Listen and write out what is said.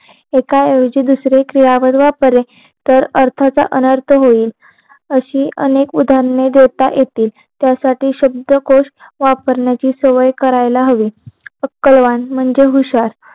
एका ऐवजी दुसऱ्या खिलाफ वापले तर अर्थच अनर्थ होईल असी अनेक उदाहरणे देता येते त्यासाठी शब्दकोश वापरणेची सवय करायला हवी अक्कलवान म्हणजे हुशार